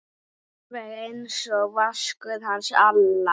Alveg einsog Vaskur hans Alla?